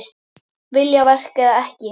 Viljaverk eða ekki?